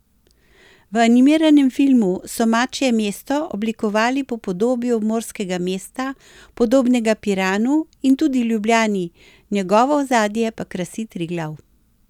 V animiranem filmu so Mačje mesto oblikovali po podobi obmorskega mesta, podobnega Piranu in tudi Ljubljani, njegovo ozadje pa krasi Triglav.